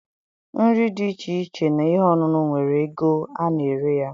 Nri dị iche iche na ihe ọṅụṅụ nwere ego ana-ere ya.